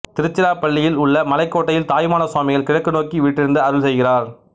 திருச்சிராப்பள்ளியில் உள்ள மலைக்கோட்டையில் தாயுமான சுவாமிகள் கிழக்கு நோக்கி வீற்றிருந்து அருள் செய்கிறார்